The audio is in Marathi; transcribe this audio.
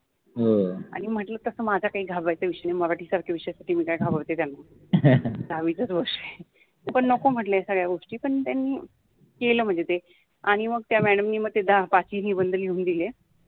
हो आणी म्हटल तस माझा काहि घाबरायचा विषय नाहि, मराठि सारखा विषयासाठि मि काय घाबरते त्याना दहाविचाच वर्ष आहे. पन नको म्हटल या सगळया गोष्टी पन त्यानि केल म्हनजे ते आणी मग त्या मॅडम नि ते पाचहि निबंध लिहुन दिले.